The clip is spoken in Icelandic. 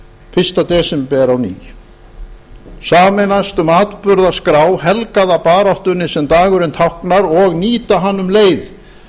fyrsta desember á ný sameinast um atburðaskrá helgaða baráttunni sem dagurinn táknar og nýta hann um leið